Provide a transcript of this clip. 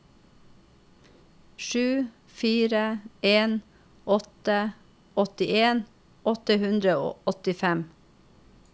sju fire en åtte åttien åtte hundre og åttifem